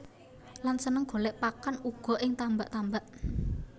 Lan seneng golèk pakan uga ing tambak tambak